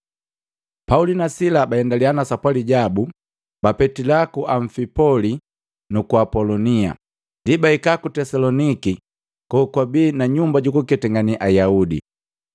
Pauli na Sila baendalia na sapwali jabu, bapetila ku Amfipoli nuku Apolonia, ndi bahika ku Tesaloniki kokwabi na nyumba jukuketangane Ayaudi.